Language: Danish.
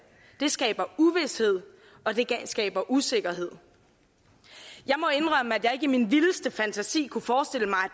det skaber uvished og det skaber usikkerhed jeg må indrømme at jeg ikke i min vildeste fantasi kunne forestille mig